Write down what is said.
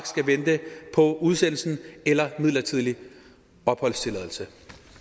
skal vente på udsendelse eller midlertidig opholdstilladelse